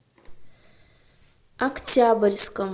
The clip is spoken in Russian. октябрьском